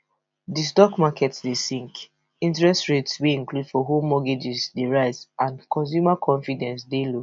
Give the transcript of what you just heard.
di stock market dey sink interest rates wey include for home mortgages dey rise and consumer confidence dey low